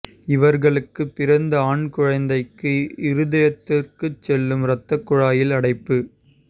இவர்களுக்கு பிறந்த ஆண் குழந்தைக்கு இருதயத்துக்கு செல்லும் ரத்த குழாயில் அடைப்பு